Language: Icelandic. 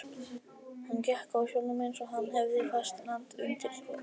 Hann gekk á sjónum eins og hann hefði fast land undir fótum.